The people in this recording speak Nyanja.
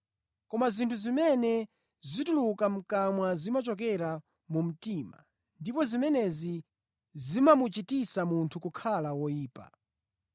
Koma zinthu zimene zituluka mʼkamwa zimachokera mu mtima ndipo zimenezi zimamuchititsa munthu kukhala woyipa.